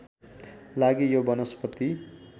लागि यो वनस्पति